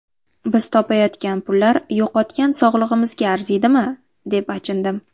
Biz topayotgan pullar yo‘qotgan sog‘lig‘imizga arziydimi, deb achindim.